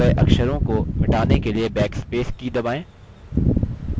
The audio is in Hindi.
टाइप key गये अक्षरों को मिटाने के लिए backspace की दबाएँ